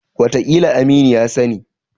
Wataƙila Aminu ya sani.